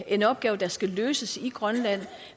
en opgave der skal løses i grønland